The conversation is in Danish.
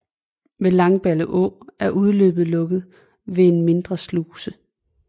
Ved Langballeå er udløbet lukket ved en mindre sluse